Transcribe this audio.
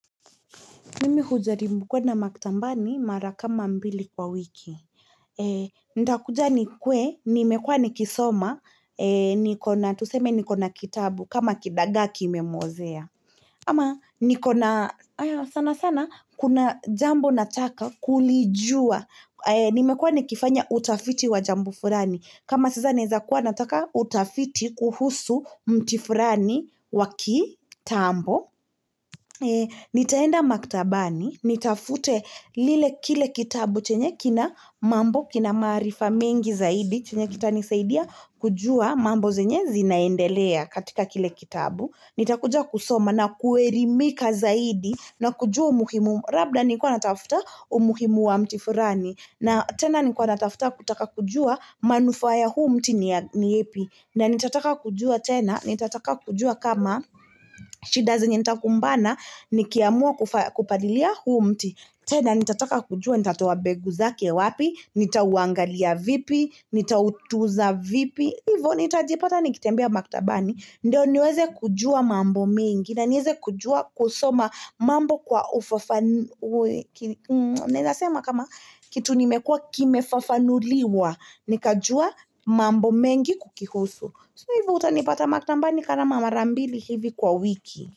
Nimi hujaribu kwenda maktambani mara kama mbili kwa wiki. Ndakuja ni kwe, nimekuwa nikisoma, tuseme ni kona kitabu, kama kidagaa ki imemuozea. Ama nikona sana sana, kuna jambo nataka kulijua, nimekuwa nikifanya utafiti wa jambu furani. Kama sasa neza kuwa nataka utafiti kuhusu mti furani wa kitambo. Nitaenda maktabani, nitafute lile kile kitabu chenye kina mambo kina maarifa mengi zaidi chenye kita nisaidia kujua mambo zenye zinaendelea katika kile kitabu Nitakuja kusoma na kuerimika zaidi na kujua umuhimu Rabda nilikuwa natafuta umuhimu wa mtifurani na tena ni kwa natafuta kutaka kujua manufaa ya huu mti ni ya ni yepi na nitataka kujua tena, nitataka kujua kama shida zenye nitakumbana, nikiamua kupalilia huu mti tena nitataka kujua, nitatoa begu zake wapi, nitauangalia vipi, nitautuza vipi Hivo nitajipata nikitembea maktabani, ndio niweze kujua mambo mingi na niweze kujua kusoma mambo kwa kikefafanuliwa, nikajua mambo mengi kukihusu So hivo utanipata maktanambani kama marambili hivi kwa wiki.